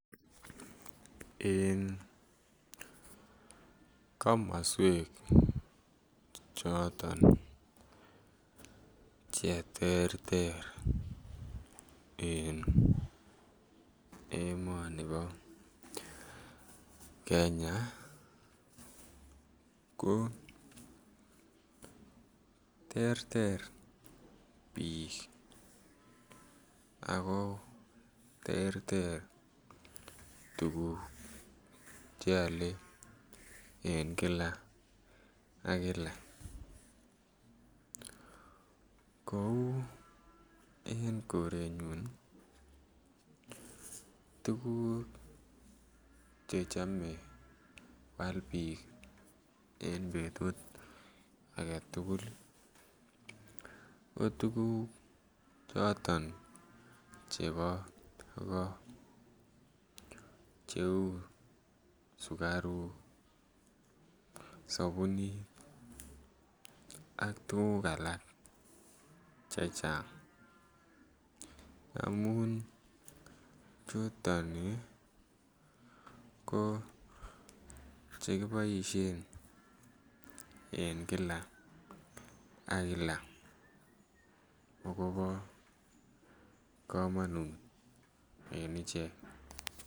En komoswek choton che terter en emonibo Kenya ko terter biik ako terter tuguk che ole en Kila ak Kila. Kouu en korenyun ii, tuguk che chome kwal biik en betut agetugul ii ko tuguk choton chebo ko che uu sukaruk, sobunit ak alak chechang amun chuton ii ko che kiboishen en Kila ak Kila akobi komonut en ichek